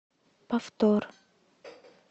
повтор